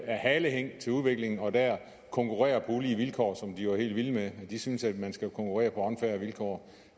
halehæng til udviklingen og dér konkurrerer på ulige vilkår som de jo er helt vilde med de synes at man skal konkurrere på unfair vilkår